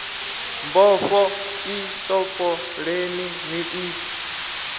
mbofho i topoleni ni i